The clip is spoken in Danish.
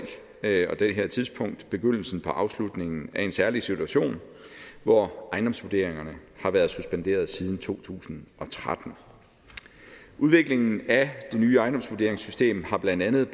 begyndelsen på afslutningen af en særlig situation hvor ejendomsvurderingerne har været suspenderet siden to tusind og tretten udviklingen af det nye ejendomsvurderingssystem har blandt andet